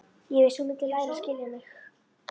Ég vissi að þú mundir læra að skilja mig.